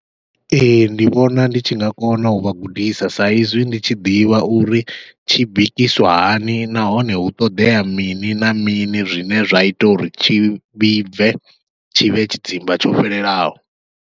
Ee ndi vhona ndi tshi nga kona uvha gudisa sa izwi ndi tshi ḓivha uri tshi bikiswa hani, nahone hu ṱoḓea mini na mini zwine zwa ita uri tshi vhibve tshivhe tshidzimba tsho fhelelaho.